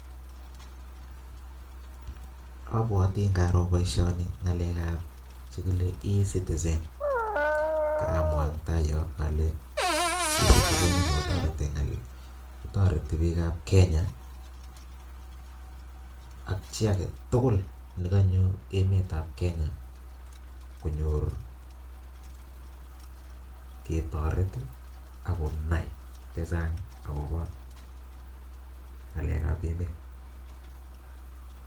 Obwote ng'aro boishoni ng'alekab chekile ecitizen, karamwaa Eng taa yoon olee, ecitizen inii kotoreti biikab Kenya ak chii aketukul nekonyo emetab Kenya konyor ketoret ak konai chechang akobo ng'alekab emet.